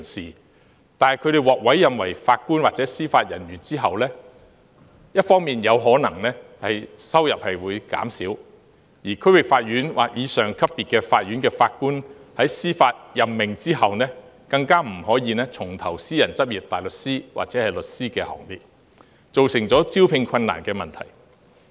然而，他們獲委任為法官或司法人員後，不但收入會減少，而且在接受區域法院或以上級別法院的法官的司法任命後，更不可以重投私人執業大律師或律師的行列，以致造成招聘困難。